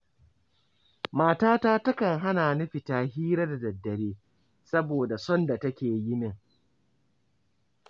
Matata takan hana ni fita hira da daddare saboda son da take yi min.